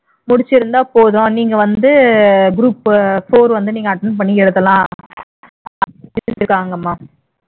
முடிச்சிருந்தா போதும் நீங்க வந்து group four attend பண்ணி எழுதலாம்